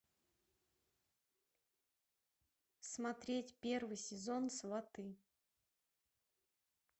смотреть первый сезон сваты